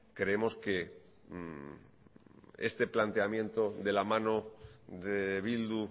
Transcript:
creemos que este planteamiento de la mano de bildu